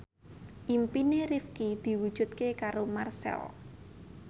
impine Rifqi diwujudke karo Marchell